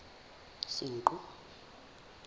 senqu